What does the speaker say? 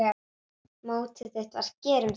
Mottóið þitt var: Gerum þetta!